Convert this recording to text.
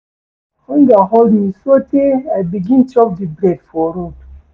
Hunger hold me sotee I begin chop di bread for road.